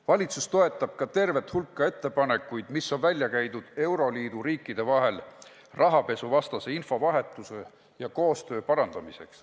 Valitsus toetab ka tervet hulka ettepanekuid, mis on välja käidud euroliidu riikide vahel rahapesuvastase info vahetamise ja kogu koostöö parandamiseks.